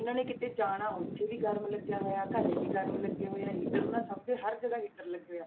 ਉਹਨਾਂ ਨੇ ਕਿਤੇ ਜਾਣਾ ਉੱਥੇ ਵੀ ਗਰਮ ਲੱਗਿਆ ਹੋਇਆ ਘਰੇ ਵੀ ਗਰਮ ਲੱਗੇ ਹੋਏ ਆ heater ਨਾ ਸਭ ਦੇ ਹਰ ਜਗ੍ਹਾ heater ਲੱਗੇ ਹੋਏ ਆ।